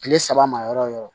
Kile saba ma yɔrɔ o yɔrɔ